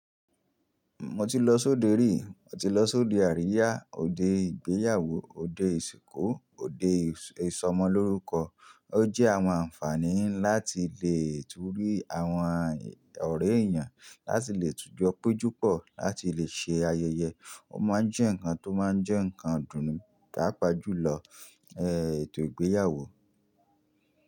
Mo ti lọ sí òde rí, mo ti lọ sí òde àríyá, òde ìgbéyàwó, òde ìsìnkú, òde ìsọmọlórúkọ. Ó jẹ́ àwọn àǹfààní láti lè túúrí àwọn ọ̀rẹ́ èèyàn, láti lè tujọ péjúpọ̀, láti lè ṣe ayẹyẹ. Ó máa ń jẹ́ ǹkan tó máa ń jẹ́ ǹkan ìdùnnú paàpá jùlọ, ẹ, ètò ìgbéyàwó.